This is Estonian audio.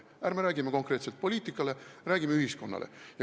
Ärme räägime, et see tähendab konkreetselt mõju poliitikale, räägime mõjust ühiskonnale.